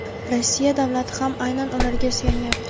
Rossiya davlati ham aynan ularga suyanyapti.